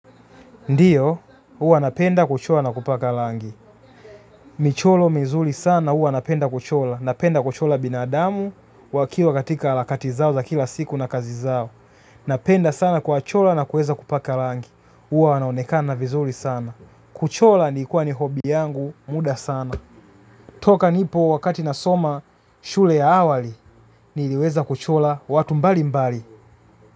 Ndio huwa napenda kushona na kupaka rangi. Michoro mizuri sana, huwa napenda kuchora. Napenda kuchora binadamu wakiwa katika harakati zao za kila siku na kazi zao. Napenda sana kuwachora na kuweza kuwapaka rangi huwa wanaonekana vizuri sana. Kuchora iiikuwa ni hobi yangu muda sana. Toka nipo wakati nasoma shule ya awali, niliweza kuchora watu mbalimbali.